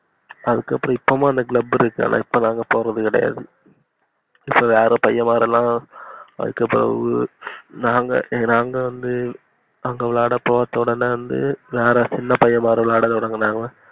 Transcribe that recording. அதுக்கு அப்புறம் இப்போம் அந்த club இருக்கு ஆனா இப்போ நாங்க போறதுகெடையாது இப்போ வேற பையன் மாருலாம் அதுக்கு அப்புறம் நாங்க நாங்க வந்து அங்க விளையாட போறது வந்து வேற சின்ன பையன் மாறுங்க விளையாட தொடங்குனாங்க